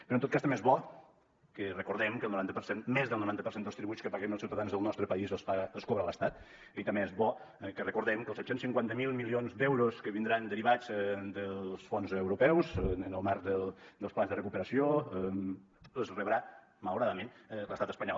però en tot cas també és bo que recordem que el noranta per cent més del noranta per cent dels tributs que paguem els ciutadans del nostre país els cobra l’estat i també és bo que recordem que els set cents i cinquanta miler milions d’euros que vindran derivats dels fons europeus en el marc del plans de recuperació els rebrà malauradament l’estat espanyol